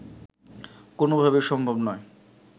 কোনোভাবেই সম্ভব নয়